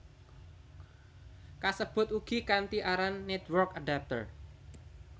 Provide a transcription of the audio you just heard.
Kasebut ugi kanthi aran Network Adapter